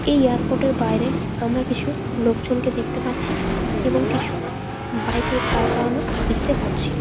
এই এয়ারপোর্ট -এর বাইরে আমরা কিছু লোকজনকে দেখতে পাচ্ছি এবং কিছু বাইক গুলো দাঁড় করানো দেখতে পাচ্ছি ।